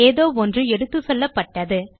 ஏதோ ஒன்று எடுத்துசெல்லப்பட்டது